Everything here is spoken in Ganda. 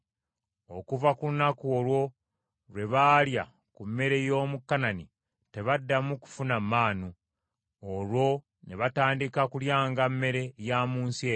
Okuva ku lunaku olwo lwe baalya ku mmere y’omu Kanani tebaddamu kufuna Maanu; olwo ne batandika kulyanga mmere ya mu nsi eyo.